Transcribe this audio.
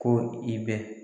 Ko i bɛ